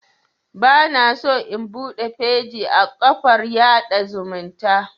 Bana so in buɗe feji a kafar yaɗa zumunta